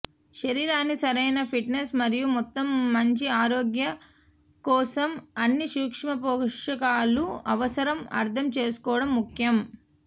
శరీరాన్ని సరైన ఫిట్నెస్ మరియు మొత్తం మంచి ఆరోగ్య కోసం అన్ని సూక్ష్మపోషకాలు అవసరం అర్థం చేసుకోవడం ముఖ్యం